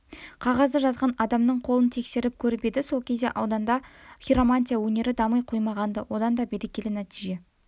қағазды жазған адамның қолын тексеріп көріп еді ол кезде ауданда хиромантия өнері дами қоймаған-ды одан да берекелі нәтиже